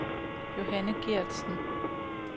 Johanne Gertsen